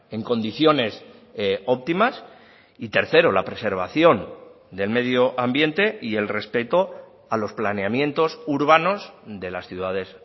en condiciones óptimas y tercero la preservación del medio ambiente y el respeto a los planeamientos urbanos de las ciudades